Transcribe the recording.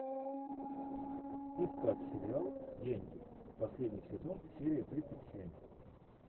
искать сериал деньги последний сезон серия тридцать семь